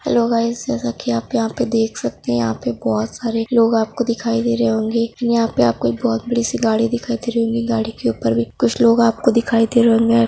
Hello guys जेसा की आप यहा पे देख सकते है यहा पे बोहोत सारे लोग आपको दिखाई दे रहे होंगे। यहाँ पे आपको एक बोहोत बड़ी सी गाड़ी दिखाई दे रही होंगी गाड़ी के ऊपर भी कुछ लोग आपको दिखाई दे रहे होंगे।